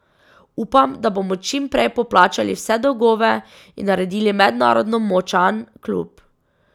Upam, da bomo čim prej poplačali vse dolgove in naredili mednarodno močan klub.